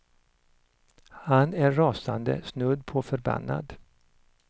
Han är rasande, snudd på förbannad.